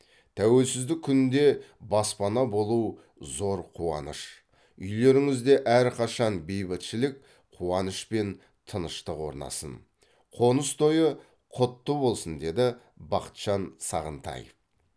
тәуелсіздік күнінде баспаналы болу зор қуаныш үйлеріңізде әрқашан бейбітшілік қуаныш пен тыныштық орнасын қоныс тойы құтты болсын деді бақытжан сағынтаев